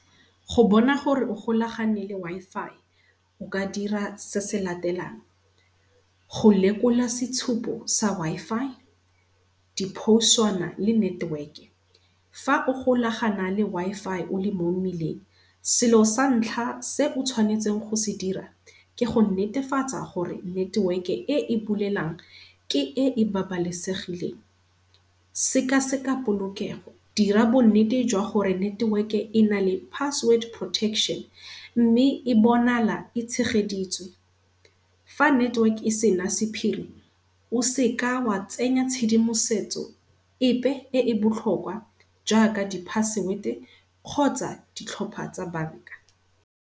Go bona gore o golagane le Wi-Fi o ka dira se se latelang, go lekola setshupo sa Wi-Fi diphouswana le network-e. Fa o golagana le Wi-Fi o le mo mmileng selo sa ntlha se o tshwanetseng go se dira ke go netefatsa gore network-e e e bulelang ke e e babalesegileng. Sekaseka polokego dira bonnete jwa gore network-e e na le password protection mme e bonala e tshegeditswe. Fa network-e e sena sephiri, o seka wa tsenya tshedimosetso epe e e botlhokwa jaaka di-password-e kgotsa ditlhopha tsa bank-a.